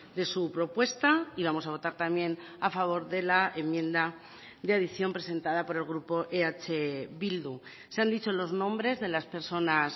de su propuesta y vamos a votar también a favor de la enmienda de adición presentada por el grupo eh bildu se han dicho los nombres de las personas